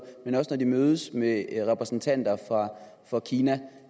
når de mødes med repræsentanter for kina